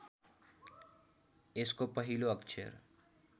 यसको पहिलो अक्षर